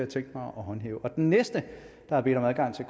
tænkt mig at håndhæve den næste der har bedt om adgang til